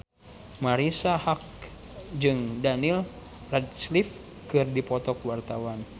Marisa Haque jeung Daniel Radcliffe keur dipoto ku wartawan